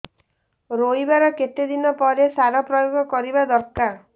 ରୋଈବା ର କେତେ ଦିନ ପରେ ସାର ପ୍ରୋୟାଗ କରିବା ଦରକାର